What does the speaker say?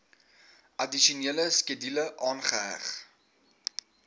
addisionele skedule aangeheg